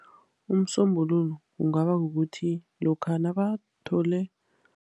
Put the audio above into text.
Umsombululo kungaba kukuthi lokha nabathole.